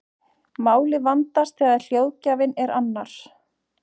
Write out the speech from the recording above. Málið vandast þegar hljóðgjafinn er annar.